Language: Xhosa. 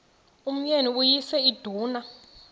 umyeni uyise iduna